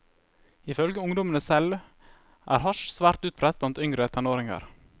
Ifølge ungdommene selv er hasj svært utbredt blant yngre tenåringer.